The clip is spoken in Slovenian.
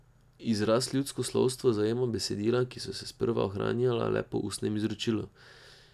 Izraz ljudsko slovstvo zajema besedila, ki so se sprva ohranjala le po ustnem izročilu.